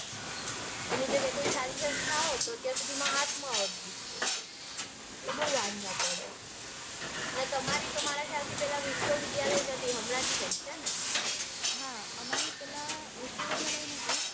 એની જગ્યાએ કોઈ સારી સંસ્થા હોય તો ત્યાં સુધીમાં હાથમાં આવે degree એટલે બઉ વાંધા પડે. અને તમારી ખ્યાલ છે તમારી પેલા વિશ્વવિદ્યાલય નતી હમણાં જ થઇ છે. હા અમારી પેલા વિશ્વવિદ્યાલય નતી.